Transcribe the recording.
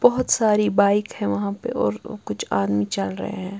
बहोत सारी बाइक हैं वहां पे और अ कुछ आदमी चल रहे हैं।